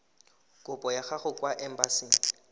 kopo ya gago kwa embasing